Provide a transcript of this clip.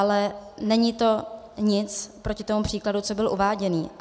Ale není to nic proti tomu příkladu, co byl uváděný.